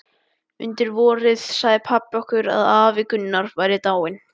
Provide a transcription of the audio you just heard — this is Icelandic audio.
Undir vorið sagði pabbi okkur að afi Gunnar væri dáinn.